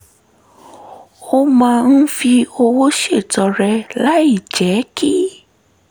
ó máa ń fi owó ṣètọrẹ láìjẹ́ kí